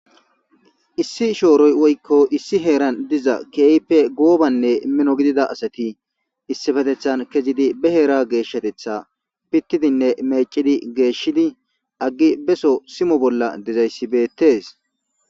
issi shooroy woykko issi heeran diza keeype goobanne mino gidida asati issifatethan kezidi be heera geeshshatetha pittidinne meecidi geeshshidi aggi beso simo bolla dezayssibeettes